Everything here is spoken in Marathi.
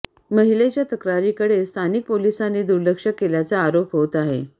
महिलेच्या तक्रारीकडे स्थानिक पोलिसांनी दुर्लक्ष केल्याचा आरोप होत आहे